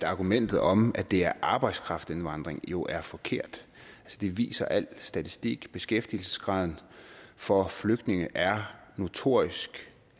argumentet om at det er arbejdskraftindvandring jo er forkert det viser al statistik beskæftigelsesgraden for flygtninge er notorisk